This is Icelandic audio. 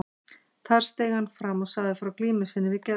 Þar steig hann fram og sagði frá glímu sinni við geðsjúkdóm.